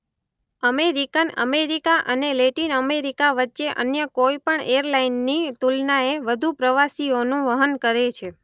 American America અને Latin America વચ્ચે અન્ય કોઇ પણ એરલાઇનની તુલનાએ વધુ પ્રવાસીઓનું વહન કરે છે.